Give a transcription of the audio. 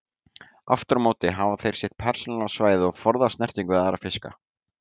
Aftur á móti hafa þeir sitt persónulega svæði og forðast snertingu við aðra fiska.